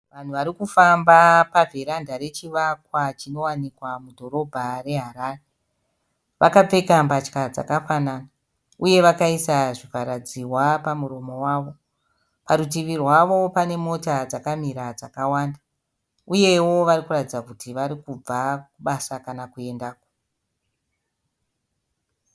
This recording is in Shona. Vanhu vari kufamba pavheranda rechivakwa chinowanikwa mudhorobha reHarare. Vakapfeka mbatya dzakafanana. Uye vakaisa zvivhara dziwa pamuromo wavo. Parutivi rwavo pane mota dzakamira dzakawanda. Uyewo varikuratidza kuti vari kubva kubasa kana kuendako.